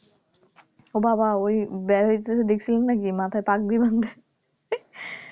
ওবাবা ওই . দেখছিলেন নাকি মাথায় পাগড়ি বাঁধে